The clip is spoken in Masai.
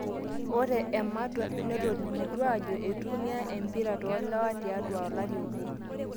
ore ematwa netolimutuo aajo eitumia empira toolewa tiatwa olari obo